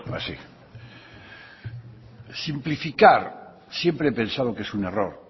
simplificar siempre he pensado que es un error